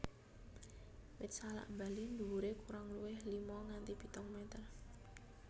Wit salak Bali dhuwuré kurang luwih lima nganti pitung meter